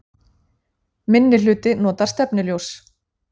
Minnihluti notar stefnuljós